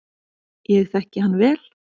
Ég þekki hann vel.